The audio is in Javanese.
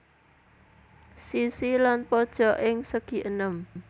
Sisi lan pojok ing segienem